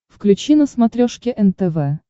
включи на смотрешке нтв